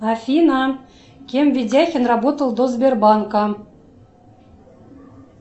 афина кем ведяхин работал до сбербанка